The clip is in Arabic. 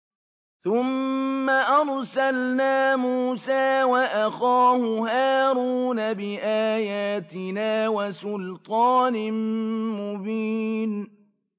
ثُمَّ أَرْسَلْنَا مُوسَىٰ وَأَخَاهُ هَارُونَ بِآيَاتِنَا وَسُلْطَانٍ مُّبِينٍ